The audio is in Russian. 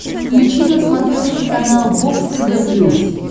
включи на смотрешке канал бокс тв плюс